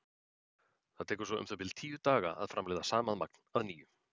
Það tekur svo um það bil tíu daga að framleiða sama magn að nýju.